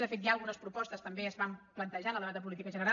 de fet ja algunes propostes també es van plantejar en el debat de política general